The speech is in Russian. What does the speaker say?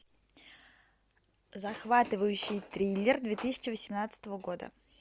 захватывающий триллер две тысячи восемнадцатого года